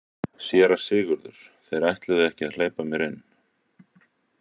SÉRA SIGURÐUR: Þeir ætluðu ekki að hleypa mér inn.